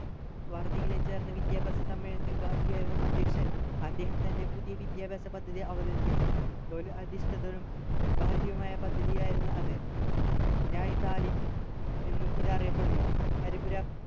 വാർധീയിലെ ചേർന്ന വിദ്യാഭ്യാസ സമ്മേളനത്തിൽ ഗാന്ധിയായിരുന്നു അധ്യക്ഷൻ അദ്ദേഹം തൻ്റെ പുതിയ വിദ്യാഭ്യാസ പദ്ധതി അവതരിപ്പിച്ചു തൊഴിൽ അധിഷ്ഠിതരും ഭാരതീയമായ പദ്ധതിയായിരുന്നു അത് എന്നും ഇത് അറിയപ്പെടുന്നു ഹരിപുര